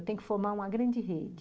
Eu tenho que formar uma grande rede.